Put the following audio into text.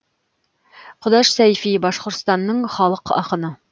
құдаш сәйфи башқұртстанның халық ақыны